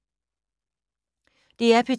DR P2